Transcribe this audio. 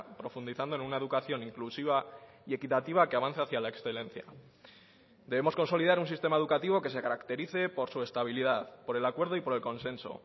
profundizando en una educación inclusiva y equitativa que avance hacia la excelencia debemos consolidar un sistema educativo que se caracterice por su estabilidad por el acuerdo y por el consenso